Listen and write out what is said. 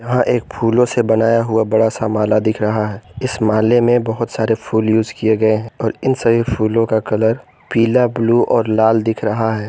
यह एक फूलों से बनाया हुआ बड़ा सा माला दिख रहा है इस माले में बहोत सारे फूल यूज किए गए हैं और इन सभी फूलों का कलर पीला ब्लू और लाल दिख रहा है।